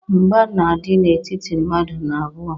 Mgba na-adị n'etiti mmadụ n'abụọ.